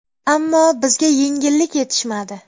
Ammo bizga yengillik yetishmadi.